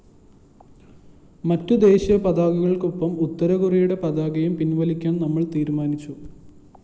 മറ്റു ദേശീയ പതാകകള്‍ക്കൊപ്പം ഉത്തരകൊറിയയുടെ പതാകയും പിന്‍വലിക്കാന്‍ നമ്മള്‍ തീരുമാനിച്ചു